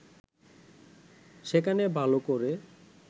সেখানে ভালো করে